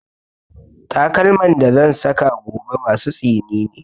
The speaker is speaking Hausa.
Takalman da zan saka gobe masu tsini ne